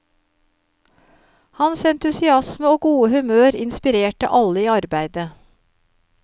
Hans entusiasme og gode humør inspirerte alle i arbeidet.